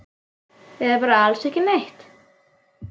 Eða bara alls ekki neitt?